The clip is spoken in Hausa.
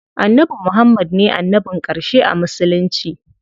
Annabi Muhammad ne annabin ƙarshe a musulunci.